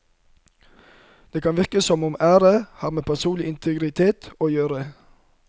Det kan virke som om ære har med personlig integritet å gjøre.